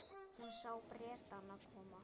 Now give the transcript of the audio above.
Hún sá Bretana koma.